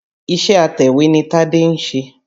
Iṣé atẹ̀wé ni Tádé ń ṣe.